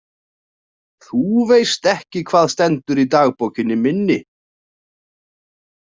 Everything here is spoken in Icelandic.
Þú veist ekki hvað stendur í dagbókinni minni